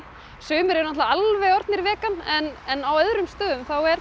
sumir eru náttúrulega alveg orðnir vegan en en á öðrum stöðum er